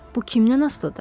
Bu kimdən asılıdır?